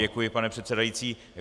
Děkuji, pane předsedající.